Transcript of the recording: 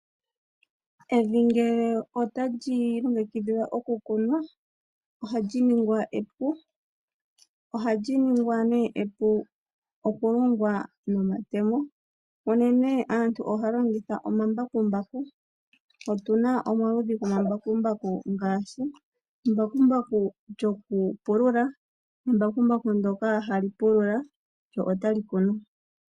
Evi ngele otali longekidhilwa oku kunwa ohali ningwa epu. Ohali ningwa nee epu oku longwa nomatemo, mpono nee aantu ohaya longitha omambakumbaku. Otuna omaludhi go mambakumbaku ngaashi embakumbaku lyoku pulula, embakumbaku ndyoka hali pulula lyo otali kunu.